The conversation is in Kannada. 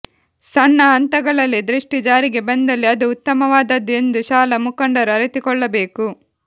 ಸಣ್ಣ ಹಂತಗಳಲ್ಲಿ ದೃಷ್ಟಿ ಜಾರಿಗೆ ಬಂದಲ್ಲಿ ಅದು ಉತ್ತಮವಾದದ್ದು ಎಂದು ಶಾಲಾ ಮುಖಂಡರು ಅರಿತುಕೊಳ್ಳಬೇಕು